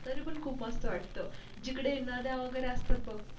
तरी पण खूप मस्त वाट जिकडे नदया वैगेरे असतात बग.